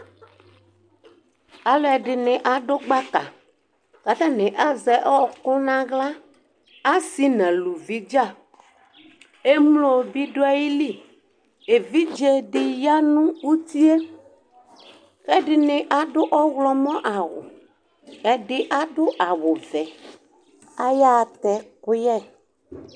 Alʋɛdini adʋ gbaka kʋ atani azɛ ɔkʋ nʋ aɣla, asi nʋ alʋvi dza emlo bi dʋ ayili Evidzedi yanʋ utie kʋ ɛdini adʋ ɔwlɔmɔ awʋ, ɛdi adʋ awʋvɛ ayaxa tɛ ɛkʋyɛ